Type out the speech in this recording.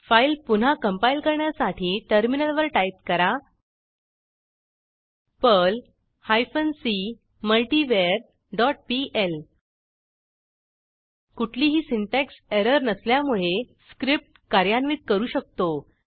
file पुन्हा compile करण्यासाठी टर्मिनलवर टाईप करा पर्ल हायफेन सी मल्टीवर डॉट पीएल कुठलीही सिंटॅक्स एरर नसल्यामुळे स्क्रिप्ट कार्यान्वित करू शकतो